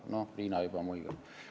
No, Riina juba muigab.